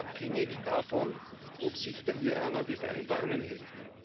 abhängig davon, ob sich der Iran an die Vereinbarungen hält.